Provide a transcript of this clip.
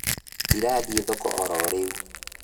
Ndĩrathiĩ thoko ororĩu